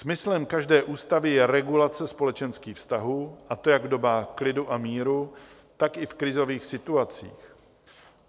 Smyslem každé ústavy je regulace společenských vztahů, a to jak v dobách klidu a míru, tak i v krizových situacích.